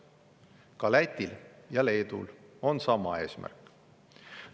Ka Lätil ja Leedul on sama eesmärk.